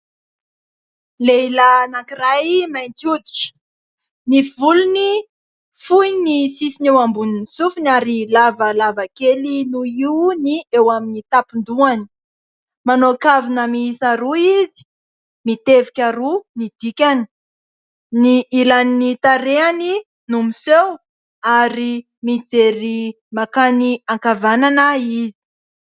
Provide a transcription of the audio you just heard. Lehilahy anankiray mainty hoditra, ny volony fohy ny sisiny eo ambonin'ny sofiny ary lavalava kely noho io ny eo amin'ny tapon-dohany, manao kavina miisa roa izy (mitevika roa ny dikany), ny ilan'ny tarehany no miseho ary mijery makany ankavanana izy.